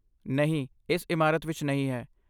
ਨਹੀਂ, ਇਸ ਇਮਾਰਤ ਵਿੱਚ ਨਹੀਂ ਹੈ।